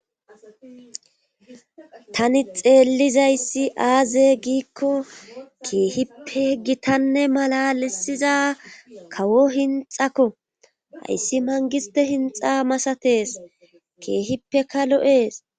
tani xeellizayssi aaze giikko keehippe gitanne mala lisiza kawo hinxakko hayssi mangiste hinxa masatees keehippeka lo7ees